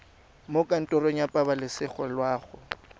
mo kantorong ya pabalesego loago